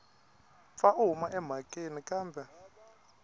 pfa a huma emhakeni kambe